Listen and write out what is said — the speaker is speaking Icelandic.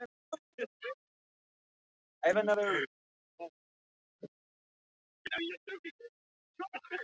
Skömmu eftir að hann fór frétti Halldór að í